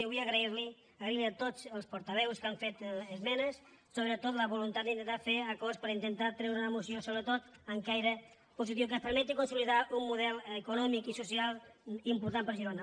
i vull agrair los agrair a tots els portaveus que han fet esmenes sobretot la voluntat d’intentar fer acords per intentar treure una moció sobretot amb caire positiu que ens permeti consolidar un model econòmic i social important per a girona